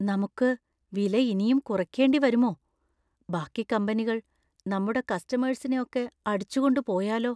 നമുക്ക് വില ഇനിയും കുറയ്ക്കേണ്ടി വരുമോ? ബാക്കി കമ്പനികൾ നമ്മുടെ കസ്റ്റമേഴ്‌സിനെ ഒക്കെ അടിച്ചുകൊണ്ട് പോയാലോ?